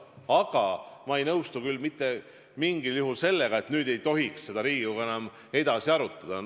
Aga ma ei nõustu mitte mingil juhul sellega, nagu nüüd ei tohiks Riigikogu seda enam edasi arutada.